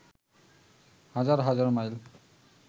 হাজার হাজার মাইল